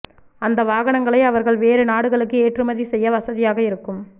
அந்த வாகனங்களை அவர்கள் வேறு நாடுகளுக்கு ஏற்றுமதி செய்ய வசதியாக இருக்கும்